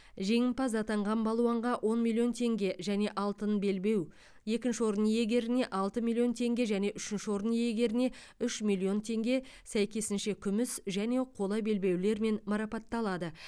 жеңімпаз атанған балуанға он миллион теңге және алтын белбеу екінші орын иегеріне алты миллион теңге және үшінші орын иегеріне үш миллион теңге сәйкесінше күміс және қола белбеулермен марапатталады